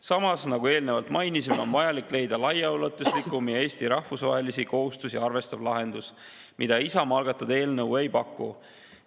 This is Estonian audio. Samas, nagu eelnevalt mainisime, on vajalik leida laiaulatuslikum ja Eesti rahvusvahelisi kohustusi arvestav lahendus, mida Isamaa algatatud eelnõu ei paku.